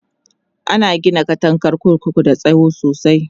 ana Gina katangar kurkuku da tsawo sosai